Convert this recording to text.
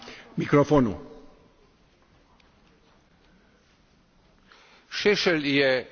Šešelj je na prostorih bivše Jugoslavije metafora za zločin.